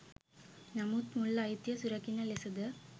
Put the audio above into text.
නමුත් මුල් අයිතිය සුරකින ලෙසද